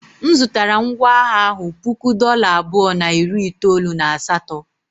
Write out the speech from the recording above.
M zụtara ngwá agha ahụ puku dollar abụọ na iri itoolu na asatọ.